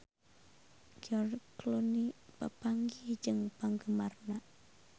George Clooney papanggih jeung penggemarna